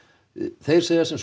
þeir segja sem svo